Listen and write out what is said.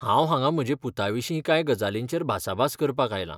हांव हांगा म्हजे पुताविशीं कांय गजालींचेर भासाभास करपाक आयलां.